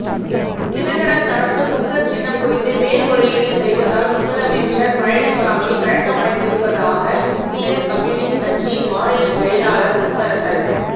தினகரன் தரப்பு குக்கர் சின்னம் குறித்து மேல்முறையீடு செய்வதால் முதலமைச்சர் பழனிசாமி கலக்கமடைந்திருப்பதாக இந்திய கம்யூனிஸ்ட் கட்சியின் மாநிலச்செயலாளர் முத்தரசன்